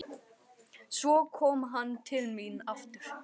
Svo kom hann til mín aftur.